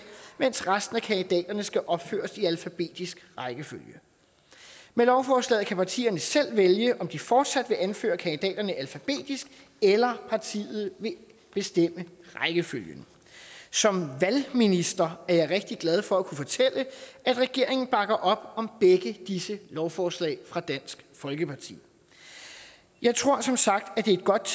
mens resten af kandidaterne skal opføres i alfabetisk rækkefølge med lovforslaget kan partierne selv vælge om de fortsat vil anføre kandidaterne alfabetisk eller partiet vil bestemme rækkefølgen som valgminister er jeg rigtig glad for at kunne fortælle at regeringen bakker op om begge disse lovforslag fra dansk folkeparti jeg tror som sagt at det er et godt